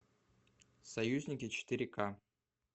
союзники четыре ка